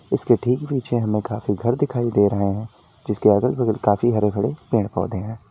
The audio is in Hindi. इसके ठीक पीछे हमें काफी घर दिखाई दे रहा हैं जिसके अगल बगल काफी हरे भरे पेड़ पौधे हैं।